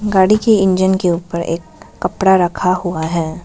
गाड़ी के इंजन के ऊपर एक कपड़ा रखा हुआ है।